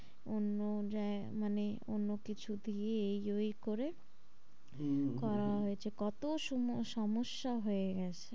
অন্য মানে অন্য কিছু দিয়ে এই ওই করে হম হম করা হয়েছে কত সুম সমস্যা হয়ে গেছে।